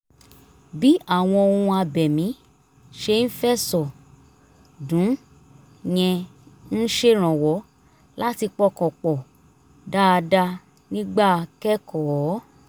bí àwọn ohun abẹ̀mí ṣe ń fẹ̀sọ̀ dún yẹn ń ṣèrànwọ́ láti pọkàn pọ̀ dáadáa nígbà kẹ́kọ̀ọ́